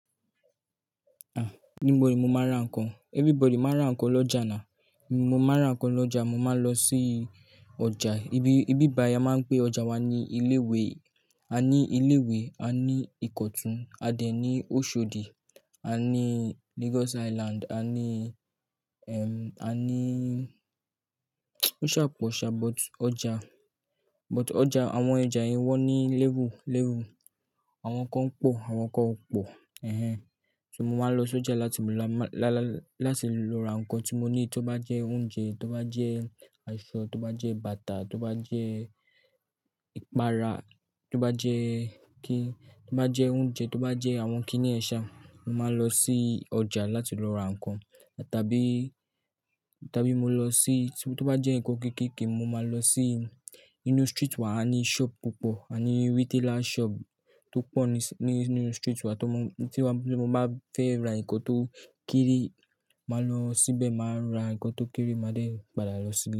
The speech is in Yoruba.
Níbo ni mo máa ń ra ǹkan? Everybody máa ń ra ǹkan lọ́jà ni. Mo máa ń ra ǹkan lọ́jà, mo máa lọ sí ọjà. Ibi, ibi ai a máa ń pè ọjà wa ní ilé-ìwé, a ní ilé-ìwé, a ní Ìkọ̀tún, a dẹ̀ ní Oshodi, a ní Lagos Island, a ní, a ní ó ṣà pọ̀ ṣà, but ọjà, but ọjà àwọn ọjà yẹn wọ́n ní léwu léwu. Àwọn kan pọ̀, àwọn kan ò pọ̀. Ehhen So mo máa lọ sí ọjà láti mu lá- lá- láti lọ ra ǹkan tí mo ní, tó bá jẹ́ oúnjẹ, tó bá jẹ́ aṣọ, tó bá jẹ́ bàtà, tó bá jẹ́ ìpara, tó bá jẹ́ kí, tó bá jẹ́ oúnjẹ, tó bá jẹ́ àwọn kiní yen sa. Mo máa lọ sí ọjà láti lọ ra ǹkan. Tàbí, tàbí mo lọ sí, tí ó bá jẹ́ ǹkan kéékèèké mo máa lọ sí inú street wa a ní shop púpọ̀, a ní retailer shop tó pọ̀ nís- ní inú street wa tó mú, tí wàá-- tí mo bá fẹ́ ra ǹkan tó kéré, màá lọ síbẹ̀, màá ra ǹkan tó kéré, màá dẹ̀ padà lọ síbí.